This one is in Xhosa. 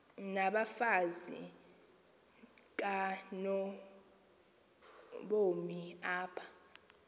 nabafazi kanobomi apha